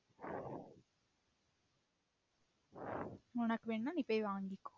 உனக்கு வேணும்னா நீ போய் வாங்கிக்கோ